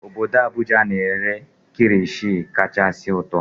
Obodo Abuja na-ere kirishi kachasị ụtọ